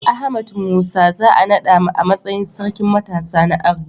Ahmad Musa za a naɗa a matsayin Sarkin Matasa na Arewa.